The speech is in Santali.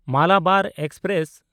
ᱢᱟᱞᱟᱵᱟᱨ ᱮᱠᱥᱯᱨᱮᱥ